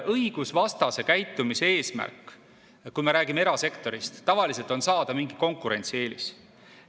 Õigusvastase käitumise eesmärk, kui me räägime erasektorist, tavaliselt on saada mingi konkurentsieelis.